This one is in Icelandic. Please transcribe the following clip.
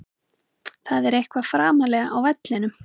Það er eitthvað framarlega á vellinum.